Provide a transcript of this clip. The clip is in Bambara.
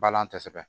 Balan kosɛbɛ